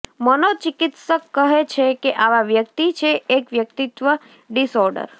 મનોચિકિત્સક કહે છે કે આવા વ્યક્તિ છે એક વ્યક્તિત્વ ડિસઓર્ડર